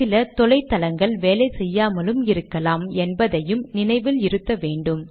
சில தொலை தளங்கள் வேலை செய்யாமலும் இருக்கலாம் என்பதையும் நினைவில் இருத்த வேன்டும்